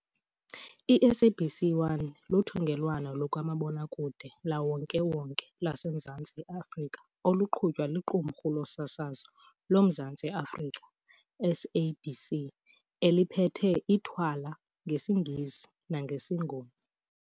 I-SABC 1 luthungelwano lukamabonakude lukawonke-wonke lwaseMzantsi Afrika oluqhutywa liQumrhu loSasazo loMzantsi Afrika, SABC, eliphethe ithwala ngesiNgesi nangesiNguni.